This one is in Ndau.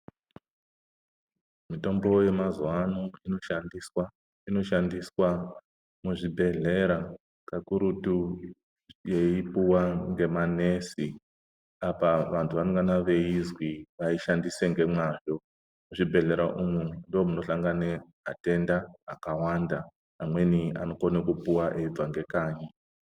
Mitombo yemazuva ano inoshandiswa inoshandiswa muzvibhedhlera kakuturu yeipuwa ngemanesi apa vantu vanenge venganei veizwi vaishandise ngemwazvo muzvibhedhlera umu ndimwo munohlangane atenda akawanda vamweni anokone kupuwa veibva ngekanyi.